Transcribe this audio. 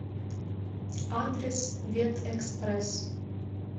адрес ветэкспресс